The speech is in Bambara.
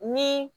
Ni